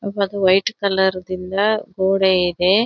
ಒಬ್ಬದು white colour ದಿಂಬಾ ಗೋಡೆ ಇದೆ.